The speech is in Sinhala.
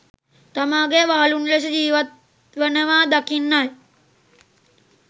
තමාගේ වහලුන් ලෙස ජීවත් වනවා දකින්නයි.